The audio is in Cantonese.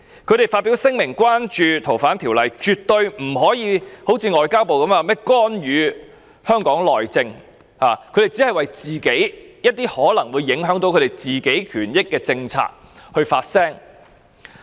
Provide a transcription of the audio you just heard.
他們發表聲明關注該條例的修訂，絕對不可如外交部般，說是干預香港內政，他們只是為一些可能會影響自己權益的政策發聲。